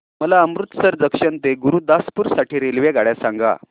मला अमृतसर जंक्शन ते गुरुदासपुर साठी रेल्वेगाड्या सांगा